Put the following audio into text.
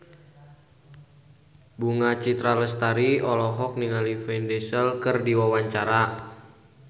Bunga Citra Lestari olohok ningali Vin Diesel keur diwawancara